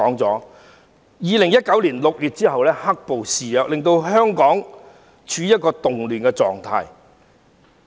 在2019年6月後，"黑暴"肆虐，令香港處於一個動亂狀態。